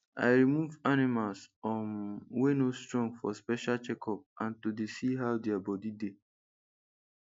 i remove animals um wey no strong for special checkup and to dey see how their body dey